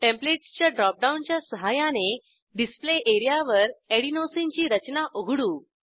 templates च्या ड्रॉपडाऊनच्या सहाय्याने डिस्प्ले एरियावर एडेनोसिन ची रचना उघडू